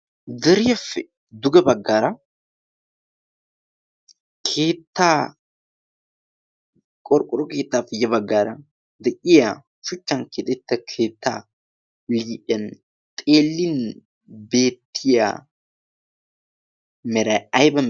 Deeriyaappe duge baggaara keettaa qorqqoro keettappe ya baggaara de'iyaa shuchchan keexxetta keettaa liphphiyaa xeellin beetiya meray ayba.